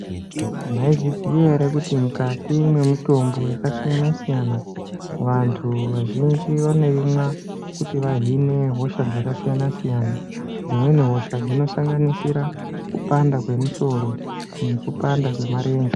Mwaizviziya ere kuti mukati mwemitombo yakasiyana siyana vantu vazhinji vanoimwa kuti vahine hosha dzakasiyana siyana dzimweni hosha dzinosanganisire kupanda kwemusori nekupanda kwemarenje.